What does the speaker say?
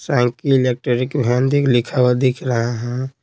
लिखा हुआ दिख रहा है।